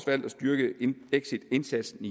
valgt at styrke exitindsatsen